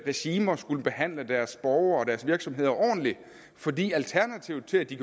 regimer skulle behandle deres borgere og deres virksomheder ordentligt fordi alternativet til at de